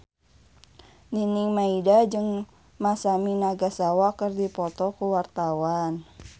Nining Meida jeung Masami Nagasawa keur dipoto ku wartawan